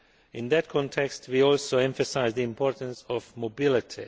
In that context, we also emphasise the importance of mobility.